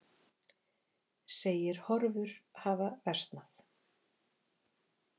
Segir horfur hafa versnað